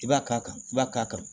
I b'a k'a kan i b'a k'a kan